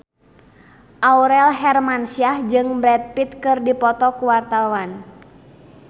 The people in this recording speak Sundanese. Aurel Hermansyah jeung Brad Pitt keur dipoto ku wartawan